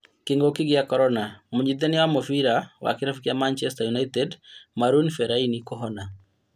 Kĩng'uki gĩa korona, mũnyitithania wa mũbĩra wa kĩrabu kĩa Manchester United Marouane Fellani kũhona